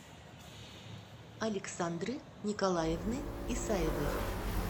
александры николаевны исаевой